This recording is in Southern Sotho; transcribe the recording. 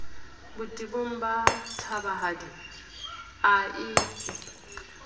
botebong ba thabahadi a epe